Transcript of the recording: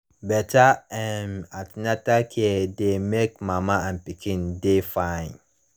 better um an ten atal care dey make mama and pikin dey fine